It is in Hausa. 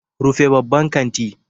Rufe babban kanti.